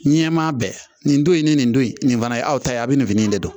Ɲɛmaa bɛɛ nin don in ni nin don in nin fana ye aw ta ye a bɛ nin fini in de don